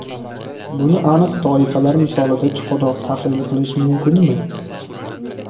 Buni aniq toifalar misolida chuqurroq tahlil qilish mumkinmi?